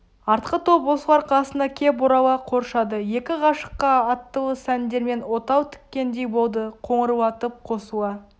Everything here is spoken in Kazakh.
артқы топ осылар қасына кеп орала қоршады екі ғашыққа аттылы сәндермен отау тіккендей болды қоңырлатып қосыла